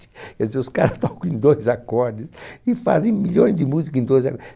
Quer dizer, os cara tocam em dois acordes e fazem milhões de música em dois